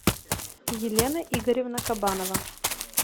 елена игоревна кабанова